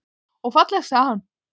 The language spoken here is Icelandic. Og fallegt, segir hann.